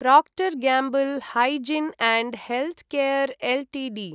Procter Gamble hygiene and health care Ltd